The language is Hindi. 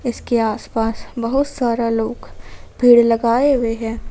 इसके आसपास बहुत सारे लोग भीड़ लगाए हुए हैं।